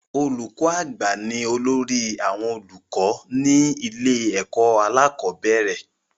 Olùkọ́ àgbà ni olórí àwọn olùkọ́ ní ilé ẹ̀kọ́ alákọ̀bẹ́rẹ̀